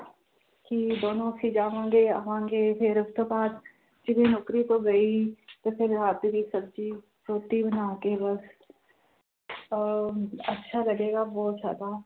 ਕਿ ਦੋਨੋਂ ਅਸੀਂ ਜਾਵਾਂਗੇ ਆਵਾਂਗੇ ਫਿਰ ਉਸ ਤੋਂ ਬਾਅਦ ਜਿਵੇਂ ਨੌਕਰੀ ਤੋਂ ਗਈ ਤੇ ਫਿਰ ਰਾਤ ਦੀ ਸਬਜ਼ੀ ਰੋਟੀ ਬਣਾ ਕੇ ਬਸ ਅਹ ਅੱਛਾ ਲੱਗੇਗਾ ਬਹੁਤ ਜ਼ਿਆਦਾ